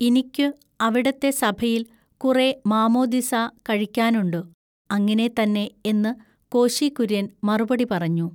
ഇനിക്കു അവിടത്തെ സഭയിൽ കുറെ മാമോദിസാ കഴിക്കാനുണ്ടു “ അങ്ങിനെ തന്നെ എന്നു കോശികുൎയ്യൻ മറുപടി പറഞ്ഞു.